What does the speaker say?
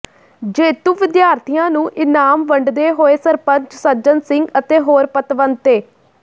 ਜੇਤੂ ਵਿਦਿਆਰਥੀਆਂ ਨੂੰ ਇਨਾਮ ਵੰਡਦੇ ਹੋਏ ਸਰਪੰਚ ਸੱਜਣ ਸਿੰਘ ਅਤੇ ਹੋਰ ਪਤਵੰਤੇ